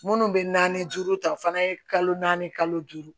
Minnu bɛ naani duuru ta o fana ye kalo naani kalo duuru